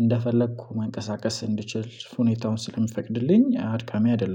እንደፈለኩ መንቀሳቀስ እንድችል ሁኔታውን ስለሚፈቅድልኝ አድካሚ አይደለም